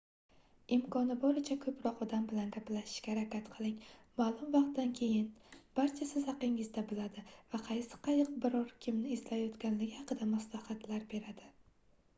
imkoni boricha koʻproq odam bilan gaplashishga harakat qiling maʼlum vaqtdan keyin barcha siz haqingizda biladi va qaysi qayiq biror kimni izlayotganligi haqida maslahatlar beradi